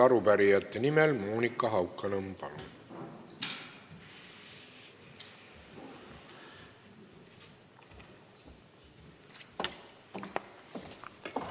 Arupärijate nimel Monika Haukanõmm, palun!